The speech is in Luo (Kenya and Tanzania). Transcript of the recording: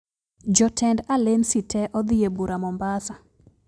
Jotend alensi te odhi e bura Mombasa